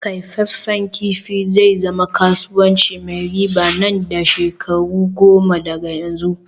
kyafaffen kifi zai zama kasuwanci mai riba nan da shekaru goma daga yanzu